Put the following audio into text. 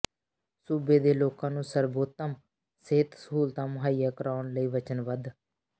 ਸੂਬੇ ਦੇ ਲੋਕਾਂ ਨੂੰ ਸਰਬੋਤਮ ਸਿਹਤ ਸਹੂਲਤਾਂ ਮੁਹੱਈਆ ਕਰਾਉਣ ਲਈ ਵਚਨਬੱਧ